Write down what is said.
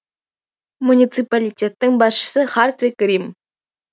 муниципалитеттің басшысы хартвиг рим